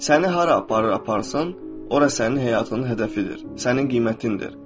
Səni hara aparır aparsın, ora sənin həyatının hədəfidir, sənin qiymətindir.